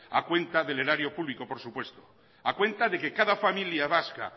a cuenta del erario público por supuesto a cuenta de que cada familia vasca